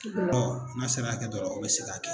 n'a sera hakɛ dɔ la o bɛ se k'a kɛ.